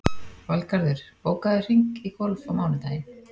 Valgarður, bókaðu hring í golf á mánudaginn.